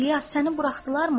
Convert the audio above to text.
İlyas, səni buraxdılarmı?